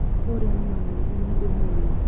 Ũrĩa nĩ mami nĩniĩ ndĩ mũĩ